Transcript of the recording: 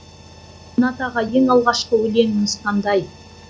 ринат аға ең алғашқы өлеңіңіз қандай